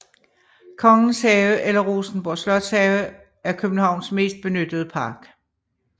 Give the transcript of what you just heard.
Kongens Have eller Rosenborg Slotshave er Københavns mest benyttede park